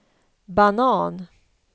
banan